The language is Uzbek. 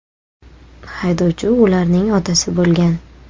Haydovchi ularning otasi bo‘lgan.